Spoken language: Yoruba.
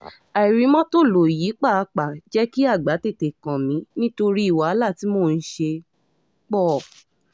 àìrí mọ́tò lọ yìí pàápàá jẹ́ kí àgbà tètè kàn mí nítorí wàhálà tí mò ń ṣe pọ̀